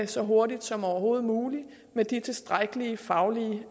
så hurtigt som overhovedet muligt med de tilstrækkelig faglige